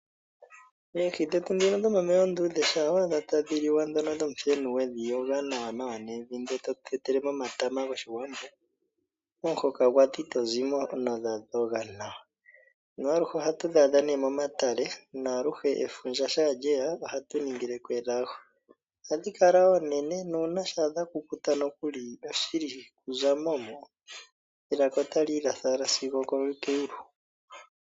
Oohi ndhoka dhomomeya oonduudhe dhomuthenu shampa wa adha tadhi liwa we dhi yoga nawanawa nevi, e to tetele mo omatama gOshiwambo momuhoka gwadho ito zi mo, oshoka odha dhoga nawa. Aluhe ohatu dhi adha momatale nuuna efundja lye ya ohatu ningele ko elago. Ohadhi kala oonene nuuna dha kukuta ito zi mo nelaka otali latha owala sigo okeyulu.